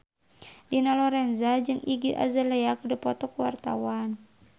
Dina Lorenza jeung Iggy Azalea keur dipoto ku wartawan